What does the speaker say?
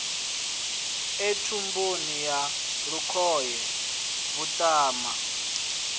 e thumbuni ya lukhohe vhuṱama